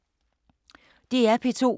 DR P2